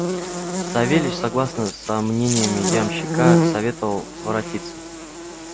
савельич согласно со мнениями ямщика советовал воротиться